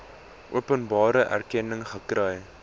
openbare erkenning gekry